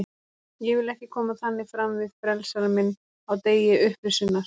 Ég vil ekki koma þannig fram fyrir frelsara minn á degi upprisunnar.